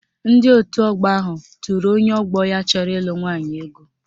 Ndị otu ọgbọ ahụ tụrụ onye ọgbọ ya chọrọ ịlụ nwaanyị ego